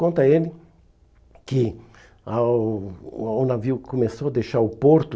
Conta a ele que a o o navio começou a deixar o porto,